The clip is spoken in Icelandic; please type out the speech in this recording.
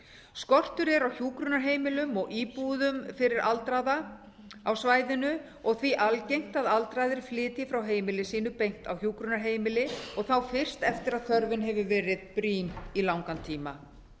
skortur er á hjúkrunarheimilum og íbúðum fyrir aldraða á svæðinu og því algengt að aldraðir flytji frá heimili sínu beint á hjúkrunarheimili og þá fyrst eftir að þörfin hefur verið brýn í langan tíma